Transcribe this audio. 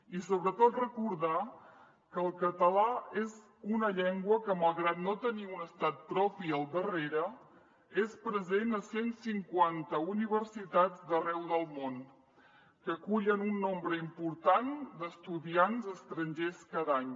i sobretot recordar que el català és una llengua que malgrat no tenir un estat propi al darrere és present a cent cinquanta universitats d’arreu del món que acullen un nombre important d’estudiants estrangers cada any